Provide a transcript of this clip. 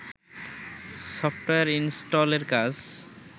software ইনস্টলের কাজ